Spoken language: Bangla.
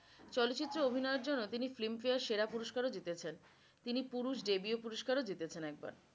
চলচিত্র অভিনয় এর জন্য তিনি filmfare সেরা পুরস্কার ও জিতেছেন। তিনি পুরুষ debew পুরস্কারও জিতেছেন একবার